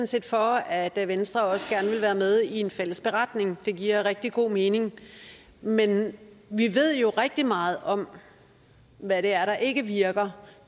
set for at venstre også gerne vil være med i en fælles beretning det giver rigtig god mening men vi ved jo rigtig meget om hvad det er der ikke virker